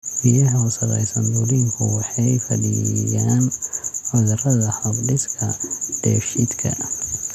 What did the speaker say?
Biyaha wasakhaysan dulinku waxay fidiyaan cudurrada hab-dhiska dheefshiidka.